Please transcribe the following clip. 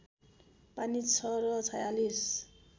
पानी छ र ४६